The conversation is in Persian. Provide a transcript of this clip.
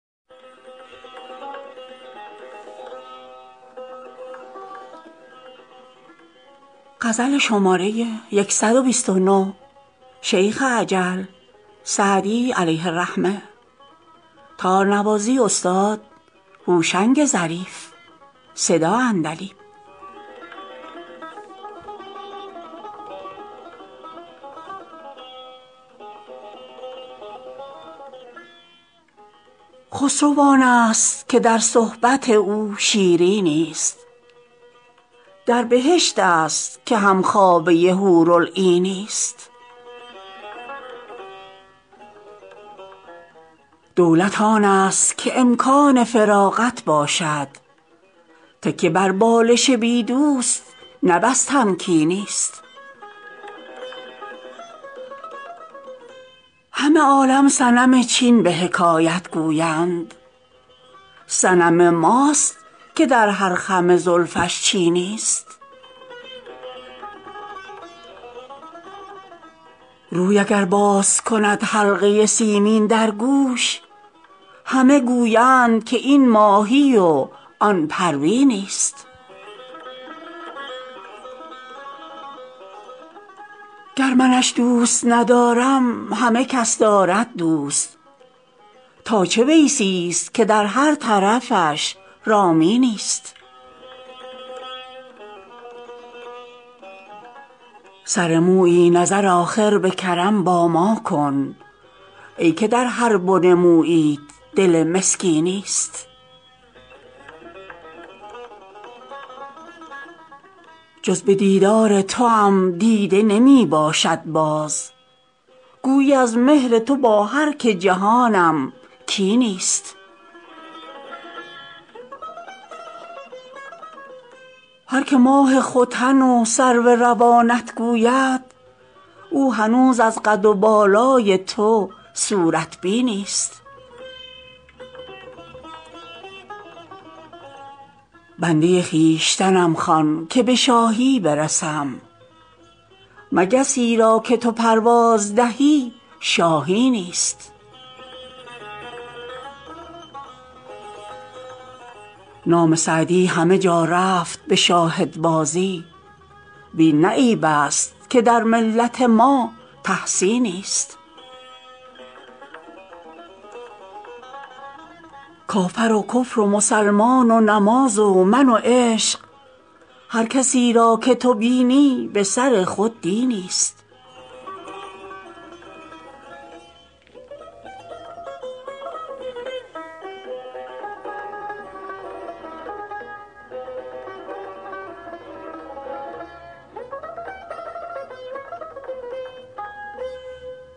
خسرو آنست که در صحبت او شیرینی ست در بهشت است که هم خوابه حورالعینی ست دولت آنست که امکان فراغت باشد تکیه بر بالش بی دوست نه بس تمکینی ست همه عالم صنم چین به حکایت گویند صنم ماست که در هر خم زلفش چینی ست روی اگر باز کند حلقه سیمین در گوش همه گویند که این ماهی و آن پروینی ست گر منش دوست ندارم همه کس دارد دوست تا چه ویسی ست که در هر طرفش رامینی ست سر مویی نظر آخر به کرم با ما کن ای که در هر بن موییت دل مسکینی ست جز به دیدار توام دیده نمی باشد باز گویی از مهر تو با هر که جهانم کینی ست هر که ماه ختن و سرو روانت گوید او هنوز از قد و بالای تو صورت بینی ست بنده خویشتنم خوان که به شاهی برسم مگسی را که تو پرواز دهی شاهینی ست نام سعدی همه جا رفت به شاهدبازی وین نه عیب است که در ملت ما تحسینی ست کافر و کفر و مسلمان و نماز و من و عشق هر کسی را که تو بینی به سر خود دینی ست